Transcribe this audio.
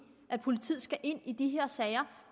at politiet skal ind i de her sager